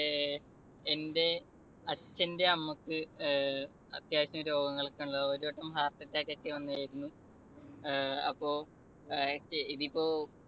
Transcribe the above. ഏർ എൻ്റെ അച്ഛന്റെ അമ്മക്ക് ഏർ അത്യാവശ്യം രോഗങ്ങളൊക്കെ ഒരു വട്ടം heart attack ഒക്കെ വന്നിരുന്നു. അഹ് അപ്പൊ ഏർ ഇതിപ്പോ